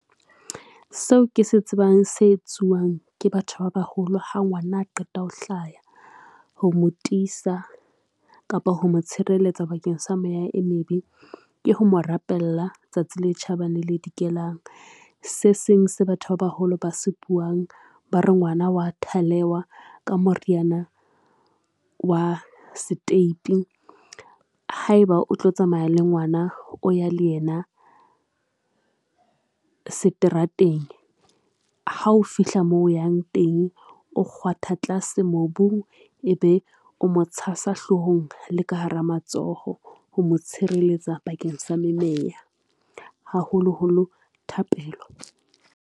Seo ke se tsebang se etsuwang ke batho ba baholo ha ngwana a qeta ho hlaya. Ho mo tisa kapa ho mo tshireletsa bakeng sa meya e mebe, ke ho mo rapella tsatsi le tjhabang, le le dikelang se seng se batho ba baholo ba se buwang ba re ngwana wa thalewa ka moriyana wa seteipi. Haeba o tlo tsamaya le ngwana, o ya le yena seterateng ha o fihla moo o yang teng, o kgwatha tlase mobung e be o mo tshasa hlohong le ka hara matsoho, ho mo tshireletsa bakeng sa memeya, haholo holo thapelo.